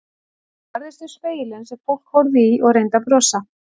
Hún barðist við spegilinn sem fólk horfði í og reyndi að brosa.